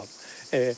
Tutalım.